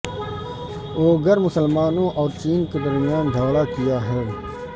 Uyghur مسلمانوں اور چین کے درمیان جھگڑا کیا ہے